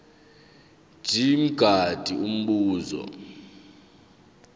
mj mngadi umbuzo